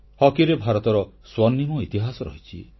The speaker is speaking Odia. ହକିରେ ଭାରତର ସ୍ୱର୍ଣ୍ଣିମ ଇତିହାସ ରହିଛି